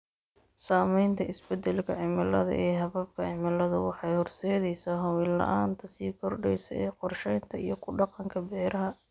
Saamaynta isbeddelka cimilada ee hababka cimiladu waxay horseedaysaa hubin la'aanta sii kordheysa ee qorshaynta iyo ku dhaqanka beeraha.